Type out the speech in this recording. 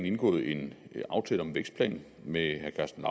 indgået en aftale om en vækstplan med herre karsten